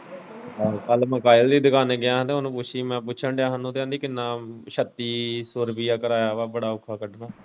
ਆਹੋ ਕੱਲ੍ਹ ਮੈਂ ਸਾਹਿਲ ਦੀ ਦੁਕਾਨੇ ਗਿਆ ਤੇ ਉਹਨੂੰ ਪੁੱਛੀ ਮੈਂ ਪੁੱਛਣ ਦਿਆ ਹਾਂ ਮੈਂ ਕਿਹਾ ਆਂਟੀ ਕਿੰਨਾ ਸੱਤੀ ਸੋ ਰੁਪਿਆ ਕਰਾਇਆ ਵਾ ਬੜਾ ਅੋਖਾ ਕੱਢਣਾ।